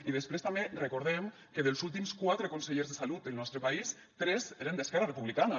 i després també recordem que dels últims quatre consellers de salut del nostre país tres eren d’esquerra republicana